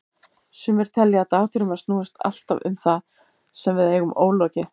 Sumir telja að dagdraumar snúist alltaf um það sem við eigum ólokið.